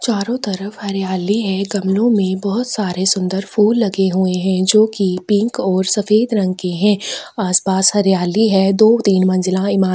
चारों तरफ हरियाली है गमलो में बहुत सारे सुंदर फूल लगे हुए है जो कि पिंक और सफेद रंग के है आसपास हरियाली है दो तीन मंजिला इमारत--